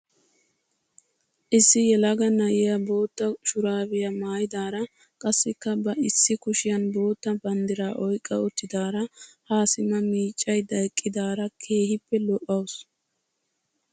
Issi yelaga na'iyaa bootta shuraabiyaa maayidaara qassikka ba issi kushiyaan bootta banddiraa oyqqa uttidaara ha simma miiccayda eqqidaara keehippe lo"awus!